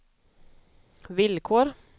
villkor